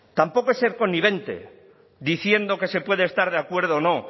tampoco es ser connivente diciendo que se puede estar de acuerdo o no